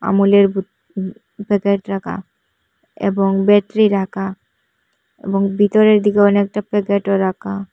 মলের ভুত উম প্যাকেট রাকা এবং বেট্রি রাকা এবং ভিতরের দিকে অনেকটা প্যাকেটও রাকা।